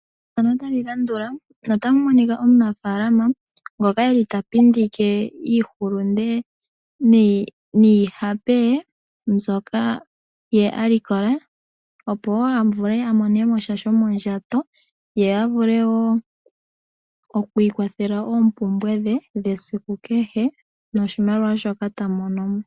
Omunafaalama ta monika mefano ota pindike iihulunde niihape ye, mbyoka ye a likola , opo a vule a mone mo sha shomondjato, ye a vule wo okwiikwathela koompumbwe dhe dhesiku kehe noshimaliwa shoka ta mono mo.